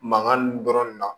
Mankan nin dɔrɔn de na